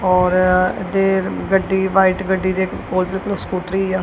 ਔਰ ਅਦੇਰ ਗੱਡੀ ਵ੍ਹਾਈਟ ਗੱਡੀ ਦੇ ਇੱਕ ਕੋਲ ਇੱਕ ਸਕੂਟਰੀ ਆ।